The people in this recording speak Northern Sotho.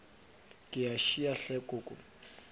ke a šia hle koko